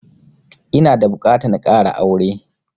Ina da buƙatan ƙara aure